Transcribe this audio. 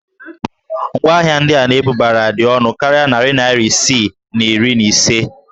Ngwaahịa ndị a na-ebubara dị ọnụ karịa narị naira isii na iri na ise